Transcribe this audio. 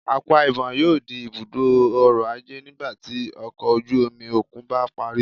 Akwa Ibom yoo di ibudo ọrọ-aje nigbati ọkọ oju-omi okun ba pari